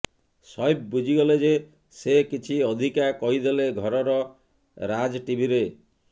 ସୈଫ ବୁଝିଗଲେ ଯେ ସେ କିଛି ଅଧିକା କହିଦେଲେ ଘର ର ରାଜ ଟିଭି ରେ